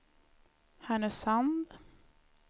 Härnösand